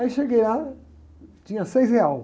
Aí cheguei lá, tinha seis reais.